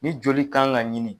Ni joli kan ka ɲini.